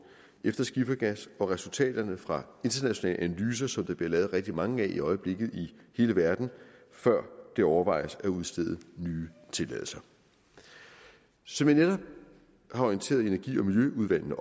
efter skifergas og resultaterne fra internationale analyser som der bliver lavet rigtig mange af i øjeblikket i hele verden før det overvejes at udstede nye tilladelser som jeg netop har orienteret energiudvalget og